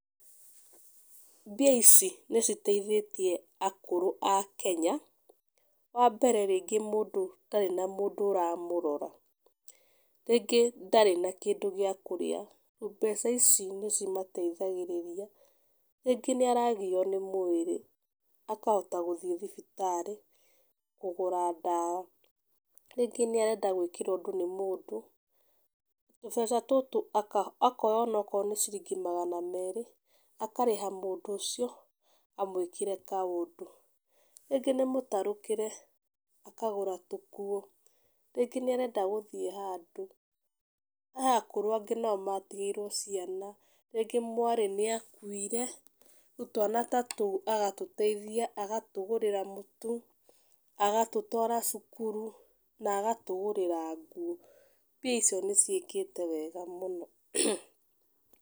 Mbia ici nĩ citeithĩtie akũrũ a Kenya, wa mbere rĩngĩ mũndũ ũtarĩ na mũndũ ũramũrora rĩngĩ ndarĩ na kĩndũ gĩa kũrĩa, mbeca ici nĩ cimateithagĩrĩria. Rĩngĩ ndarĩ na gĩa kũrĩa, rĩngĩ nĩ aragio nĩ mwĩrĩ akahota gũthiĩ thibitarĩ kũgũra dawa. Rĩngĩ nĩ arenda gwĩkĩrwo ũndũ nĩ mũndũ tũbeca tũtũ akoya onakorwo nĩ ciringi magana merĩ akarĩha mũndũ ũcio amwĩkĩre kaũndũ. Rĩngĩ nĩ mũtarũkĩre akagũra tũkuo, rĩngĩ nĩ arenda gũthiĩ handũ. Hae akũrũ angĩ matigĩirwo ciana rĩngĩ mwarĩ nĩ akuire rĩu twana ta tũu agatũteithia agatũgũrĩra mũtu, agatũtwara cukuru na agatũgũrĩra nguo, mbia icio nĩ ciĩkĩte wega mũno.